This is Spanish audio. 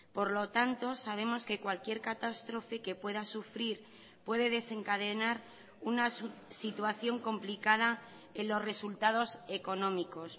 por lo tanto sabemos que cualquier catástrofe que pueda sufrir puede desencadenar una situación complicada en los resultados económicos